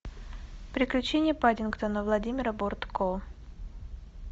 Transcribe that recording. приключения паддингтона владимира бортко